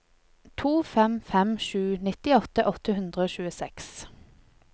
to fem fem sju nittiåtte åtte hundre og tjueseks